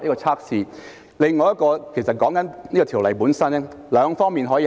此外，要改善《條例》，我們可以從兩方面考慮。